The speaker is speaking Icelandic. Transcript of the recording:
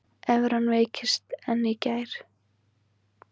Evran veiktist enn í gær